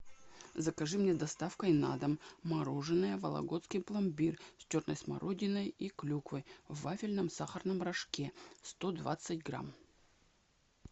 закажи мне доставкой на дом мороженое вологодский пломбир с черной смородиной и клюквой в вафельном сахарном рожке сто двадцать грамм